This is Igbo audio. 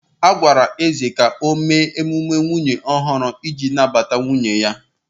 A gwara Eze ka o mee mmemme nwunye ọhụrụ iji nabata nwunye ya